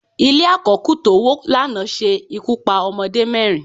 Ile àkó̩kù tówó lana se ikú pa ọmọdé mẹrin